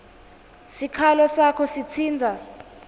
sikhalo sakho sitsintsa